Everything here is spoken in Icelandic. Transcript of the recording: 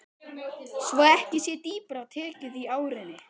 Svo ekki sé dýpra tekið í árinni.